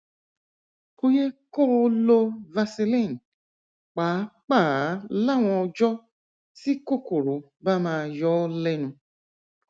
kò yẹ kó o lo vaseline pàápàá láwọn ọjọ tí kòkòrò bá máa yọ ọ lẹnu